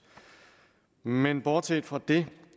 men bortset fra det